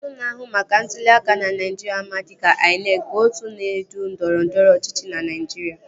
Otu na-ahụ maka ntụli aka ná Naijiria ama dịka INEC bụ otu na-edu ndọrọndọrọ ọchịchị na Naijiria